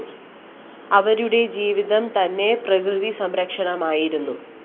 അവരുടെ ജീവിതം തന്നെ പ്രകൃതി സംരക്ഷണമായിരുന്നു